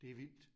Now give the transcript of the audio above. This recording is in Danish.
Det vildt